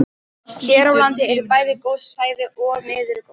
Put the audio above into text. Hér á landi eru bæði góð svæði og miður góð.